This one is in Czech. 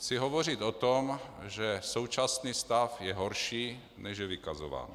Chci hovořit o tom, že současný stav je horší, než je vykazován.